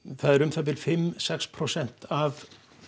það er um það bil fimm sex prósent af